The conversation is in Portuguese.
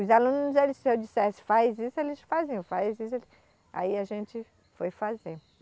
Os alunos eles, se eu dissesse faz isso, eles faziam, faz isso ele, aí a gente foi fazer.